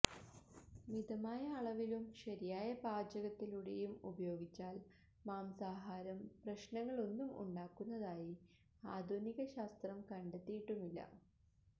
മിതമായ അളവിലും ശരിയായ പാചകത്തിലൂടെയും ഉപയോഗിച്ചാല് മാംസാഹാരം പ്രശ്നങ്ങളൊന്നും ഉണ്ടാക്കുന്നതായി ആധുനിക ശാസ്ത്രം കണ്ടെത്തിയിട്ടുമില്ല